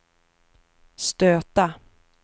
stöta